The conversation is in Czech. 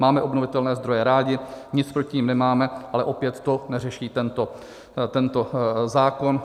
Máme obnovitelné zdroje rádi, nic proti nim nemáme, ale opět to neřeší tento zákon.